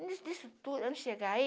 Antes disso tudo, antes de chegar aí,